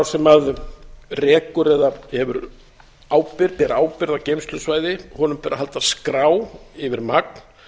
sem rekur eða ber ábyrgð á geymslusvæði ber að halda skrá yfir magn